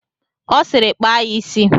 Ọ sịịrị kpaa ya isi!